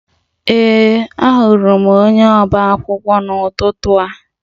Ee, ahụrụ m onye ọba akwụkwọ n'ụtụtụ a